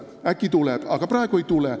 Äkki tuleb, aga praegu ei tule.